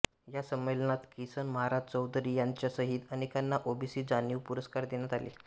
या संमेलनात किसन महाराज चौधरी यांच्यासहित अनेकांना ओबीसी जाणीव पुरस्कार देण्यात आले